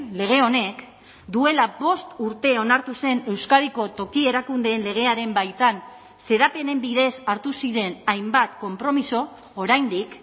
lege honek duela bost urte onartu zen euskadiko toki erakundeen legearen baitan xedapenen bidez hartu ziren hainbat konpromiso oraindik